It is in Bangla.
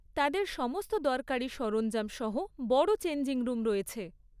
তাদের সমস্ত দরকারি সরঞ্জাম সহ বড় চেঞ্জিং রুম রয়েছে।